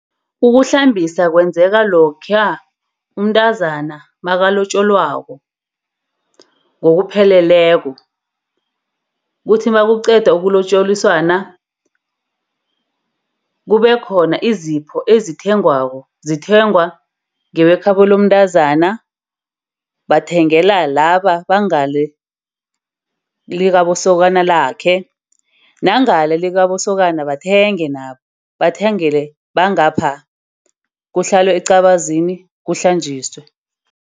Ukuhlambisa kwenzeka lokha umntazana makulotjolwako ngokupheleleko, kuthi nakuqeda ukulotjoliswana kube khona izipho ezithengwako. Zithengwa ngebekhabo lomntazana bathengela laba bangale likabosokana lakhe. Nangale likabosokana bathenge nabo bathengela bangapha. Kuhlalwe eqabazini kuhlanjiswe.